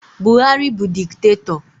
Buhari bụ diktatọ